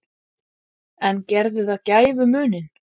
En gerði það gæfumuninn?